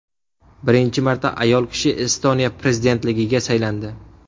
Birinchi marta ayol kishi Estoniya prezidentligiga saylandi.